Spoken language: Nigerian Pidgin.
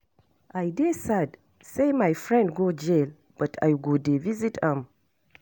I dey sad say my friend go jail but I go dey visit am.